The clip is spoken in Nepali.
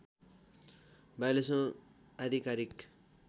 ४२ औँ आधिकारिक